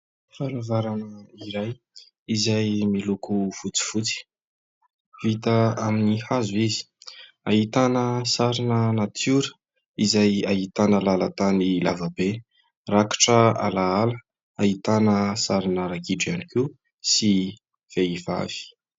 Varavarana iray izay miloko fotsifotsy. Vita amin'ny hazo izy. Ahitana sarina natiora izay ahitana lalan-tany lava be, rakotra alaala, ahitana sarina ragidro ihany koa sy vehivavy.